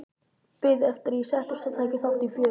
Biðu eftir að ég settist og tæki þátt í fjörinu.